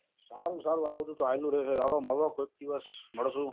સારું આ બઘુ આવિયા કરે હવે ક્યારે માળો કોઈ દિવસ માલસું